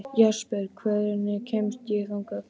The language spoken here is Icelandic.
Jesper, hvernig kemst ég þangað?